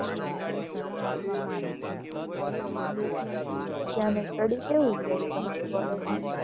ત્યાં નું study કેવુ છે? તમારી college નું?